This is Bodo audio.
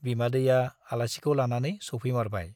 बिमादैया आलासिखौ लानानै सौफैमारबाय ।